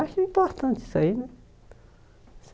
Acho importante isso aí, né?